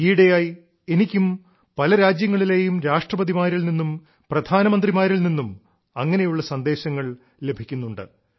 ഈയിടെയായി എനിക്കും പല രാജ്യങ്ങളിലെയും രാഷ്ട്രപതിമാരിൽ നിന്നും പ്രധാനമന്ത്രിമാരിൽ നിന്നും അങ്ങനെയുള്ള സന്ദേശങ്ങൾ ലഭിക്കുന്നുണ്ട്